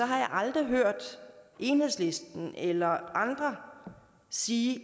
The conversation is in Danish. har jeg aldrig hørt enhedslisten eller andre sige